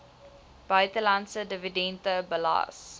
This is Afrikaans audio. buitelandse dividende belas